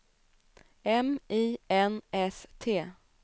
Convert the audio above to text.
M I N S T